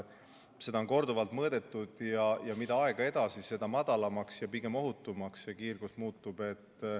Seda on korduvalt mõõdetud ja mida aeg edasi, seda madalamaks ja pigem ohutumaks see kiirgus muutub.